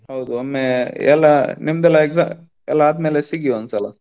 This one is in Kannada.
ಹೌದು ಒಮ್ಮೆ ಎಲ್ಲಾ ನಿಮ್ದೆಲ್ಲ exam ಎಲ್ಲಾ ಆದ್ಮೇಲೆ ಸಿಗಿ ಒಂದ್ಸಲ.